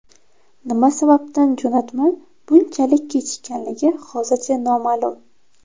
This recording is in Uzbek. Nima sababdan jo‘natma bunchalik kechikkanligi hozircha noma’lum.